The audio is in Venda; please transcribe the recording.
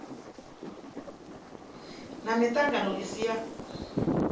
na miṱangano i si ya